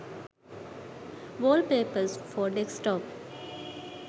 wallpapers for desktop